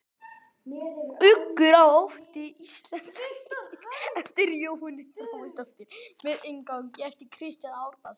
Uggur og ótti, íslensk þýðing eftir Jóhönnu Þráinsdóttur með inngangi eftir Kristján Árnason.